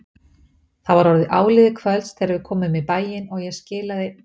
Það var orðið áliðið kvölds þegar við komum í bæinn og ég skilaði